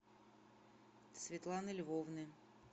светланы львовны